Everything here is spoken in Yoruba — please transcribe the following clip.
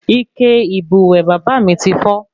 Ike ìbùwẹ̀ bàbá mí tí fọ́